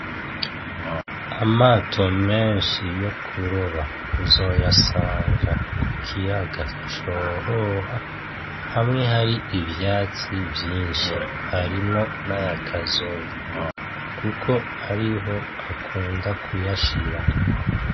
Amato menshi yokuroba uzoyasanga kukiyaga Cohoha, hamwe hari ivyatsi vyinshi. Harimwo naya Kazoviyo kuko ariho akunda kuyashira.